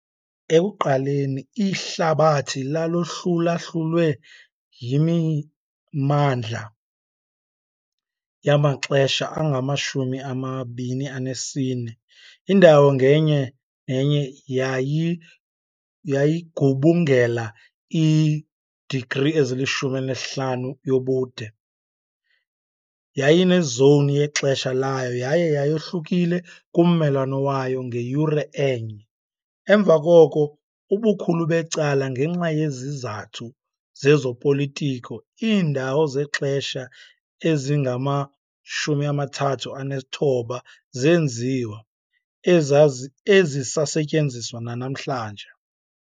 Ekuqaleni, ihlabathi lalohlulahlulwe yimimandla yamaxesha angama-24, indawo ngenye nenye yayigubungela i-degree ezili-15 yobude, yayinezowuni yexesha layo yaye yayohlukile kummelwane wayo ngeyure enye. Emva koko, ubukhulu becala ngenxa yezizathu zezopolitiko, iindawo zexesha ezingama-39 zenziwa, ezisasetyenziswa nanamhlanje.